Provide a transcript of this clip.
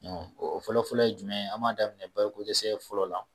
o fɔlɔ-fɔlɔ ye jumɛn ye an b'a daminɛ balo ko dɛsɛ fɔlɔ la.